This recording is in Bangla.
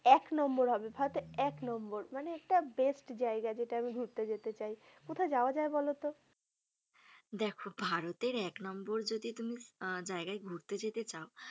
এক নম্বর হবে ভারতের এক নম্বর মানে একটা best জায়গা যেটা আমি ঘুরতে যেতে চায়। কোথায় যাওয়া যায় বলতো। দেখো ভারতের এক নম্বর যদি তুমি আহ জায়গায় ঘুরতে যেতে চাও।